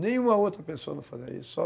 Nenhuma outra pessoa não fazia isso, só